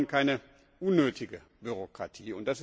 Wir wollen keine unnötige Bürokratie.